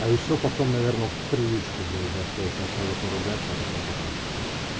а ещё потом наверное в привычку блять зашло сначала поругаться а потом потрахаться